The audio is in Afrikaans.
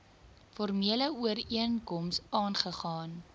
formele ooreenkoms aagegaan